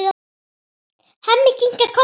Hemmi kinkar kolli.